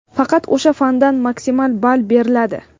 faqat o‘sha fandan maksimal ball beriladi.